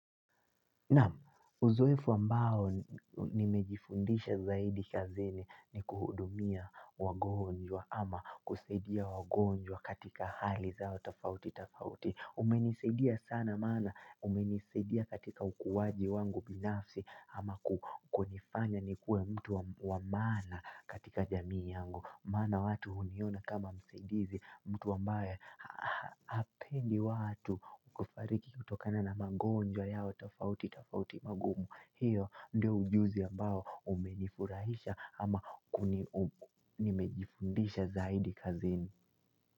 Naam, uzoefu ambao nimejifundisha zaidi kazini ni kuhudumia wagonjwa ama kusaidia wagonjwa katika hali zao tafauti tafauti. Umenisedia sana mana, umenisedia katika ukuwaji wangu binafsi ama kukunifanya nikue mtu wa mana katika jamii yangu. Mana watu uniona kama msaidizi mtu wambawe hapendi watu ukufariki kutokana na magonja yao tafauti tafauti magumu hiyo ndio ujuzi ambao umenifurahisha ama nimejifundisha zaidi kazini.